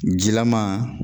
Jilaman,